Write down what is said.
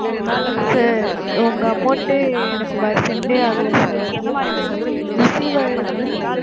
sir உங்க amount டு எனக்கு வ~ send ஏ ஆகல sir, receive ஆயிருந்தா